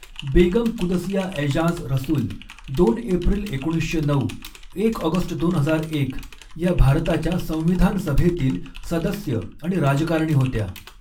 बेगम कुदसिया ऐजाज रसूल दोन एप्रिल एकोणीसशे नऊ, एक ऑगस्ट दोन हजार एक या भारताच्या संविधान सभेतील सदस्य आणि राजकारणी होत्या.